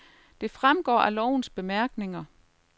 Det fremgår af lovens bemærkninger.